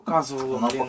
Göstərsin, lənətə gəlsin.